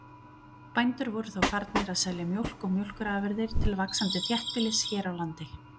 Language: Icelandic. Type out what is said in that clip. Bændur voru þá farnir að selja mjólk og mjólkurafurðir til vaxandi þéttbýlis hér á landi.